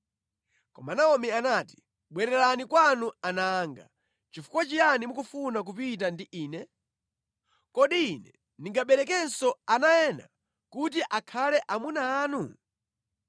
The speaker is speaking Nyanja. Koma Naomi anati, “Bwererani kwanu ana anga. Chifukwa chiyani mukufuna kupita ndi ine? Kodi ine ndingaberekenso ana ena kuti akhale amuna anu?